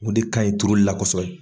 O de ka ɲi turuli la kosɛbɛ.